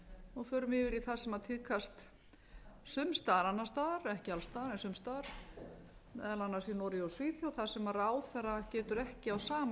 og förum yfir í það sem tíðkast sums staðar annars staðar ekki alls staðar en sums staðar meðal annars í noregi og svíþjóð þar sem ráðherra getur ekki á sama